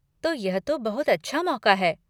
तो यह तो बहुत अच्छा मौक़ा है।